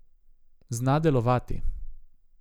Zna delovati.